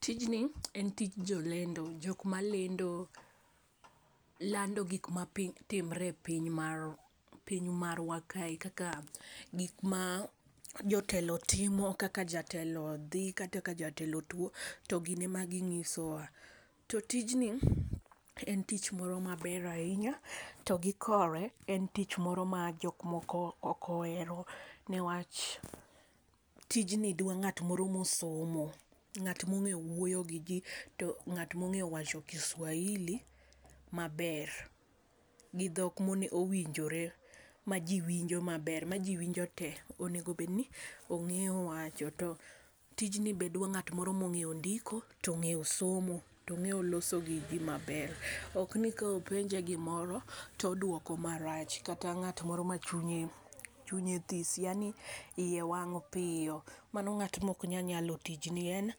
Tijni en tij jo lendo , jok ma lando gik ma timre e piny marwa, piny marwa kae kaka gik ma jotelo timo, kata ka jatelo dhi, kata ka jatelo tuo to gin ema gi ngiso wa. To tijni ji en tich moro ma ber ainya to gi kowe en tich mro ma jok moko ok ohero ne wach tij ni dwa ngat mor ma osomo, ngat ma ong'e wuoyo gi ji to ngat ma ong'e wacho kiswahili ma ber gi dhok ma onego ma owinjore ma ji winjo ma ber ma ji winjo te. Onego bed ni ongeyo wacho, to tijni be dwaro ngat ma ongeyo ndiko to ongeyo somo to ongeyo loso gi ji ma ber ok ni ka openje gi moro to odwuoko ma rach ok ni ngat moro ma chunye this yaani iye wang piyo. Mano ngat ma ok nya nyalo tijni en